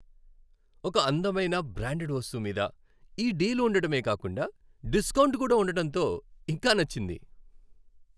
ఒక అందమైన బ్రాండడ్ వస్తువు మీద ఈ డీల్ ఉండడమే కాకుండా డిస్కౌంట్ కూడా ఉండటంతో ఇంకా నచ్చింది.